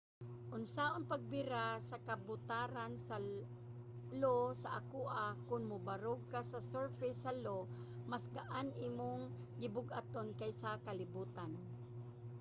unsaon pagbira sa kabutaran sa io sa akoa? kon mobarog ka sa surface sa io mas gaan imong gibug-aton kaysa sa kalibutan